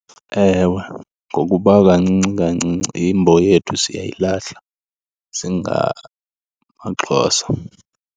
Ewe, ngokuba kancinci kancinci imbo yethu siyayilahla singamaXhosa.